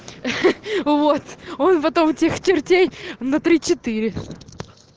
ха-ха вот он потом тех чертей на три четыре